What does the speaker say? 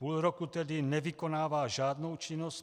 Půl roku tedy nevykonával žádnou činnost.